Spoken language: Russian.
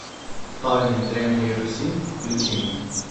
тайны древней руси включи мне